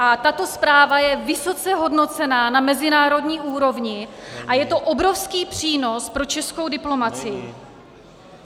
A tato zpráva je vysoce hodnocena na mezinárodní úrovni a je to obrovský přínos pro českou diplomacii.